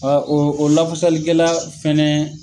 o o lafasali kɛla fɛnɛ